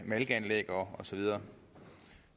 malkeanlæg og så videre